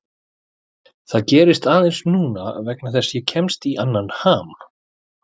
Það gerist aðeins núna vegna þess að ég kemst í annan ham.